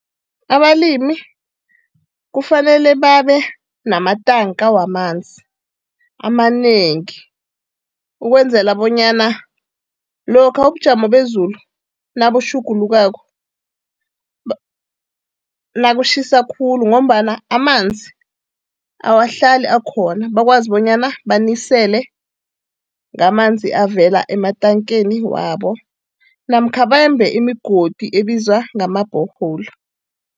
Abalimi kufanele babe namatanka wamanzi amanengi ukwenzela bonyana lokha ubujamo bezulu nabutjhugulukako nakutjhisa khulu ngombana amanzi awahlali akhona, bakwazi bonyana banisele ngamanzi avela ematankeni wabo namkha bembe imigodi ebizwa ngama borehole.